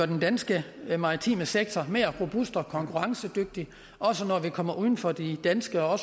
den danske maritime sektor mere robust og konkurrencedygtig også når vi kommer uden for de danske og